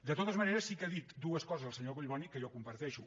de totes maneres sí que ha dit dues coses el senyor collboni que jo comparteixo